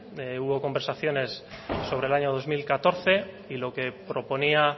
hubo conversaciones sobre el año dos mil catorce y lo que proponía